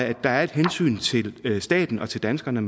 at der er et hensyn til staten og til danskerne